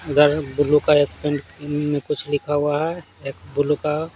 इधर blue colour paint में कुछ लिखा हुआ है एक बुलु का --